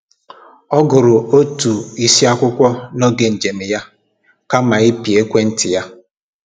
Ọ gụrụ otu isi akwụkwọ n’oge njem ya kama ịpị ekwentị ya